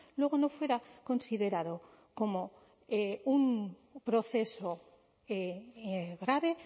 luego no fuera considerado como un proceso grave